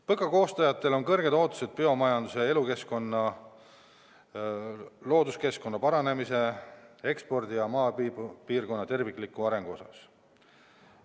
PõKa koostajatel on kõrged ootused biomajanduse, elu- ja looduskeskkonna paranemise, ekspordi ja maapiirkonna tervikliku arengu osas.